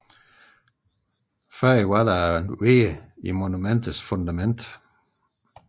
Tidligere var der en rude i monumentets fundament